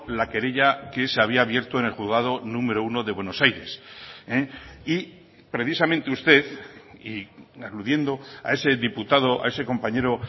la querella que se había abierto en el juzgado número uno de buenos aires y precisamente usted y aludiendo a ese diputado a ese compañero